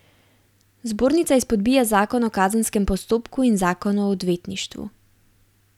Zbornica izpodbija zakon o kazenskem postopku in zakon o odvetništvu.